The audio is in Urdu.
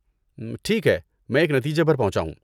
ٹھیک ہے، میں ایک نتیجے پر پہنچا ہوں۔